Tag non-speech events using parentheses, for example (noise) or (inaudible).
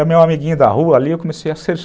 Era meu amiguinho da rua ali, eu comecei a. (unintelligible)